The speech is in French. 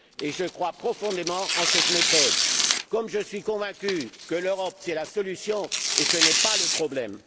Je crois profondément en cette méthode, tout comme je suis convaincu que l'Europe est la solution et non le problème.